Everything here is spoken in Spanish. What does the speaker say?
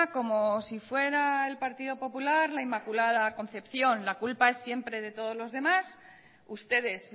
como si fuera el partido popular la inmaculada concepción la culpa es siempre es de todos lo demás ustedes